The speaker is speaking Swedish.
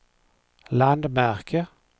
landmärke